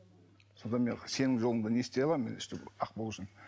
содан мен сенім жолында не істей аламын мен өстіп ақ болу үшін